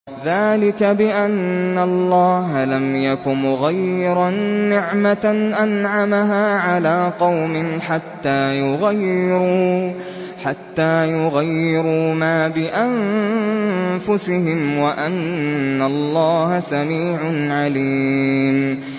ذَٰلِكَ بِأَنَّ اللَّهَ لَمْ يَكُ مُغَيِّرًا نِّعْمَةً أَنْعَمَهَا عَلَىٰ قَوْمٍ حَتَّىٰ يُغَيِّرُوا مَا بِأَنفُسِهِمْ ۙ وَأَنَّ اللَّهَ سَمِيعٌ عَلِيمٌ